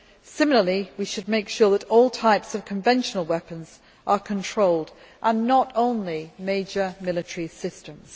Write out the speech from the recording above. Similarly, we should make sure that all types of conventional weapons are controlled, and not only major military systems.